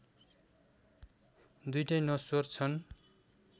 दुईटै नश्वर छन्